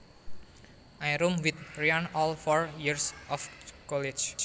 I roomed with Ryan all four years of college